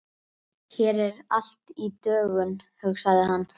Hér er allt í dögun, hugsaði hann.